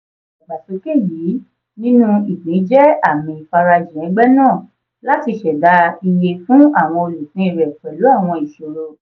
ìdàgbàsókè yìí nínú ìpín jẹ́ àmì ìfarajìn ẹgbẹ́ náà láti ṣẹ̀dá iye fún àwọn olùpín rẹ̀ pẹ̀lú àwọn ìṣòro.